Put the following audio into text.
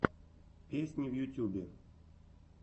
песни в ютьюбе